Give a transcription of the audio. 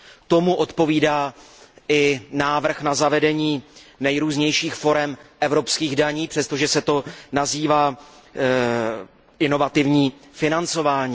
Tomu odpovídá i návrh na zavedení nejrůznějších forem evropských daní, přestože se to nazývá inovativní financování.